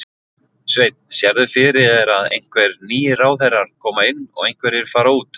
Sveinn: Sérðu fyrir þér að einhver nýir ráðherrar koma inn og einhverjir fara út?